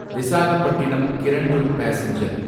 Visakhapatnam Kirandul passenger